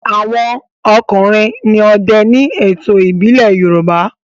àwọn ọkùnrin ní òde ní ètò ìbílè yoruba